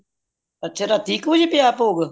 ਅੱਛਾ ਰਾਤੀ ਇੱਕ ਵਜੇ ਪੈ ਯਾ ਭੋਗ